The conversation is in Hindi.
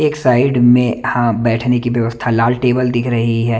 एक साईड में हां बैठने की व्यवस्था लाल टेबल दिख रही है।